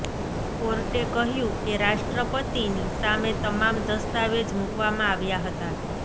કોર્ટે કહ્યું કે રાષ્ટ્રપતિની સામે તમામ દસ્તાવેજ મુકવામાં આવ્યા હતા